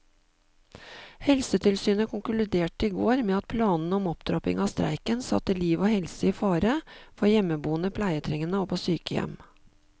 Helsetilsynet konkluderte i går med at planene om opptrapping av streiken satte liv og helse i fare for hjemmeboende pleietrengende og på sykehjem.